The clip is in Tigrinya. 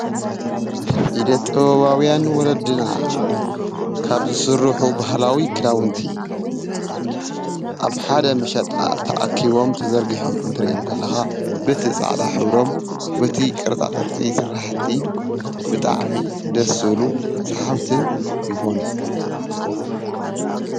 ኢደ ጥበባዉያን ወለድና ካብ ዝስርሑ ባህላዊ ክድዉንቲ ኣብ ሓደ መሸጣ ተኣኪቦም ተዘርጊሖም ክትሪኦም ከለካ በቲ ፃዕዳ ሕብሮም በቲ ቅርፃቅርፂ ስራሕቲ ብጣዕሚ ደስ ዝብሉ ሰሓብትን ይኾኑ።